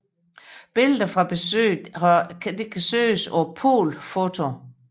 Billeder fra besøget kan søges på polfoto